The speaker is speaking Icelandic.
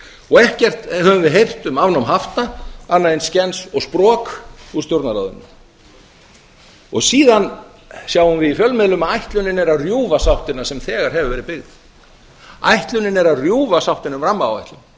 og ekkert höfum við heyrt um afnám hafta annað en skens og sprok úr stjórnarráðinu síðan sjáum við í fjölmiðlum að ætlunin er að rjúfa sáttina sem þegar hefur verið byggð ætlunin er að rjúfa sáttina